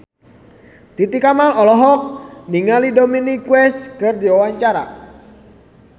Titi Kamal olohok ningali Dominic West keur diwawancara